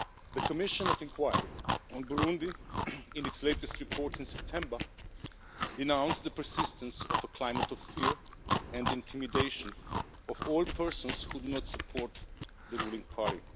The Commission of Inquiry on Burundi, in its latest report in September, denounced the persistence of a climate of fear and intimidation of all persons who do not support the ruling party.